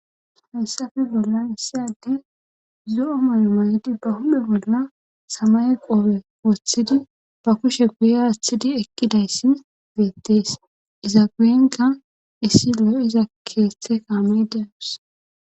hayssafe bollan issade zo7o mayo maydi ba hume bolla samay qoobe woththidi ba kushe guye athidi ekkidayssi deettees iza guyenka issi lo7o iza keeththe kaamayde awus